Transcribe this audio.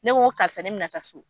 Ne ko karisa ne mina taa so